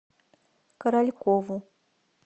королькову